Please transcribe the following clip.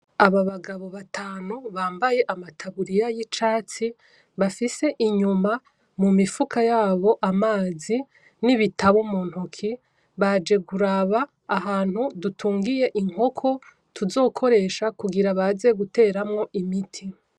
Aba bagabo batanu bambaye amataburiya yicatsi, bafise inyuma mu mifuka yabo amazi n'ibatabu mu ntoki ,baje kuraba ahantu dutungiye inkoko tuzokoresha kugira baze guteramwo imiti.